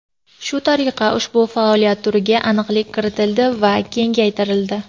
Shu tariqa, ushbu faoliyat turiga aniqlik kiritildi va kengaytirildi.